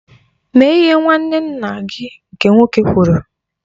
Mee ihe nwanne nna gị nke nwoke kwụrụ.